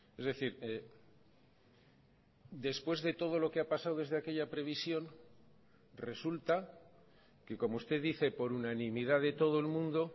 es decir después de todo lo que ha pasado desde aquella previsión resulta que como usted dice por unanimidad de todo el mundo